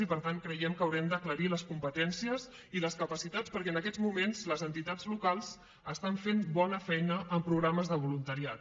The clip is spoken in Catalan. i per tant creiem que haurem d’aclarir les competències i les capacitats perquè en aquests moments les entitats locals estan fent bona feina amb programes de voluntariat